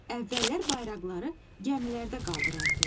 Əvvəllər bayraqları gəmilərdə qaldırardılar.